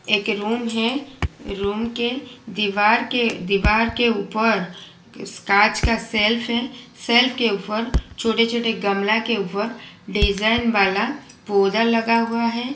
एक रूम हैं रूम के दीवार के दीवार के ऊपर कांच का शेल्फ हैं शेल्फ के ऊपर छोटे छोटे गमला के ऊपर डिजाइन वाला पौधा लगा हुआ हैं।